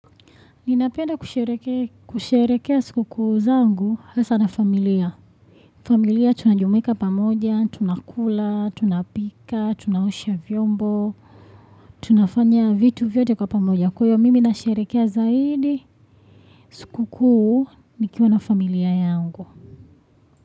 Ninapenda kusherehekea siku kuu zangu hasa na familia. Familia tunajumuika pamoja, tunakula, tunapika, tunaosha vyombo. Tunafanya vitu vyote kwa pamoja. Kwa hivyo mimi nasherehekea zaidi. Siku kuu nikiwa na familia yangu.